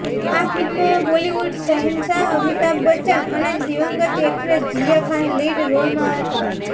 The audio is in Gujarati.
આ ફિલ્મમાં બોલિવુડના શહેનશાહ અમિતાભ બચ્ચન અને દિવંગત એક્ટ્રેસ જિયા ખાન લીડ રોલમાં હતા